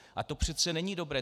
A to přece není dobré.